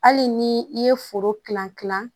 Hali ni i ye foro kilan kilan